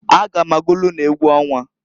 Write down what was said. A ga m agụlụ unu egwu ọnwa.